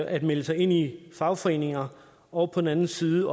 at melde sig ind i fagforeninger og på den anden side